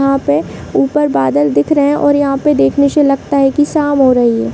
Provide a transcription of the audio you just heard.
यहाँ पे ऊपर बादल दिख रहे और यहाँ पे दिखने से लगता है की शाम हो रही है।